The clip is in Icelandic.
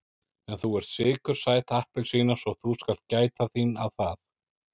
En þú ert sykursæt appelsína svo þú skalt gæta þín að það.